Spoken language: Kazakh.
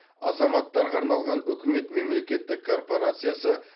азаматтарға арналған үкімет мемлекеттік корпорациясы